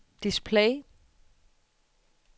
display